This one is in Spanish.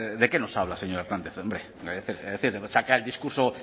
de qué nos habla señor hernández es decir saca el discurso